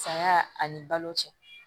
Saya ani balo cɛ